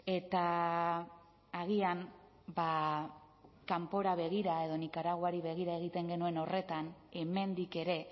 eta agian ba kanpora begira edo nikaraguari begira egiten genuen horretan hemendik ere